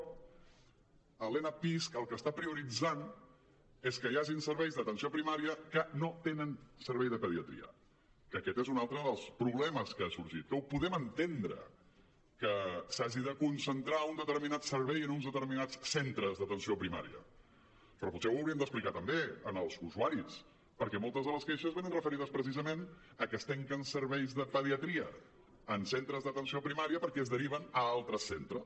l’enapisc el que està prioritzant és que hi hagin serveis d’atenció primària que no tenen servei de pediatria que aquest és un altre dels problemes que han sorgit que ho podem entendre que s’hagi de concentrar un determinat servei en uns determinats centres d’atenció primària però potser ho hauríem d’explicar també als usuaris perquè moltes de les queixes venen referides precisament a que es tanquen serveis de pediatria en centres d’atenció primària perquè es deriven a altres centres